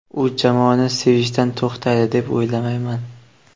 U jamoani sevishdan to‘xtaydi deb o‘ylamayman.